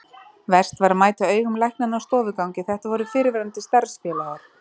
Verst var að mæta augum læknanna á stofugangi, þetta voru fyrrverandi starfsfélagar.